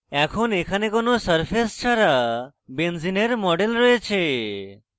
এখন এখানে কোনো সারফেস ছাড়া benzene model রয়েছে